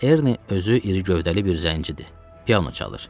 Erni özü iri gövdəli bir zəngicidir, piano çalır.